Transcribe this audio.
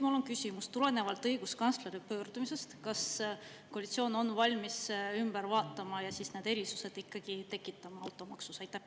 Mul on küsimus: kas koalitsioon on valmis õiguskantsleri pöördumisest lähtudes automaksu üle vaatama ja need erisused tekitama?